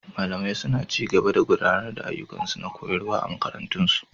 Malamai suna ci gaba da gudanar da ayyukansu na koyarwa a makarantun su.